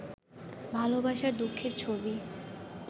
ভালবাসার দুঃখের ছবি